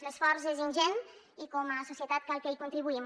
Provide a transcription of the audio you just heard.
l’esforç és ingent i com a societat cal que hi contribuïm